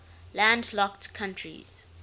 landlocked countries